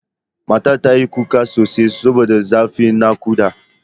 Matar ta yi kuka sosai saboda zafin naƙuda.